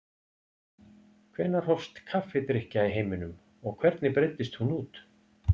Hvenær hófst kaffidrykkja í heiminum og hvernig breiddist hún út?